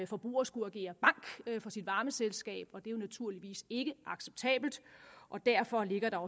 forbruger skulle agere bank for sit varmeselskab det er naturligvis ikke acceptabelt og derfor ligger der